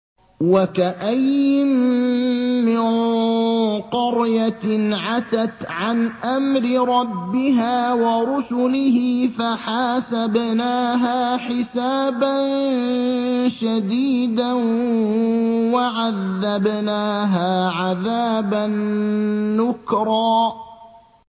وَكَأَيِّن مِّن قَرْيَةٍ عَتَتْ عَنْ أَمْرِ رَبِّهَا وَرُسُلِهِ فَحَاسَبْنَاهَا حِسَابًا شَدِيدًا وَعَذَّبْنَاهَا عَذَابًا نُّكْرًا